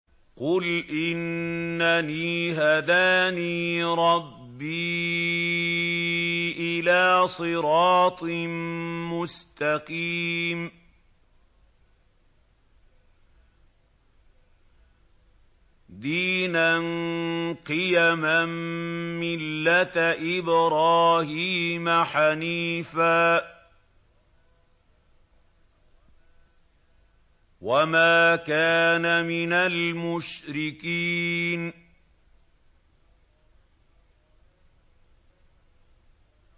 قُلْ إِنَّنِي هَدَانِي رَبِّي إِلَىٰ صِرَاطٍ مُّسْتَقِيمٍ دِينًا قِيَمًا مِّلَّةَ إِبْرَاهِيمَ حَنِيفًا ۚ وَمَا كَانَ مِنَ الْمُشْرِكِينَ